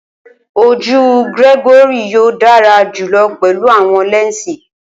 Oju Gregory yoo dara julọ pẹlu awọn lẹnsi.